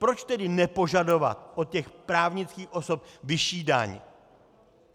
Proč tedy nepožadovat od těch právnických osob vyšší daň?